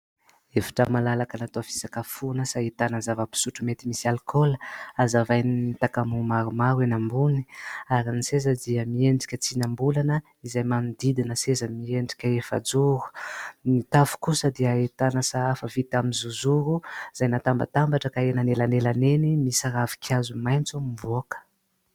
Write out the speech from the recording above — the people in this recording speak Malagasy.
Efitra malalaka natao fisakafoana sy ahitana zava-pisotro mety misy alikaola, azavain'ny takamoa maromaro eny ambony ary ny seza dia miendrika tsinam-bolana izay manodidina seza miendrika efa-joro, ny tafo kosa dia ahitana sahafa vita amin'ny zozoro izay natambatambatra ka eny anelanelany eny misy ravinkazo maitso mivoaka.